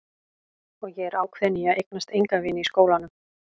Og ég er ákveðin í að eignast enga vini í skólanum.